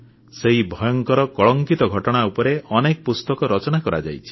ସେହି ଭୟଙ୍କର କଳଙ୍କିତ ଘଟଣା ଉପରେ ଅନେକ ପୁସ୍ତକ ରଚନା କରାଯାଇଛି